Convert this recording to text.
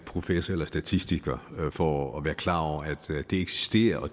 professor eller statistiker for at være klar over eksisterer og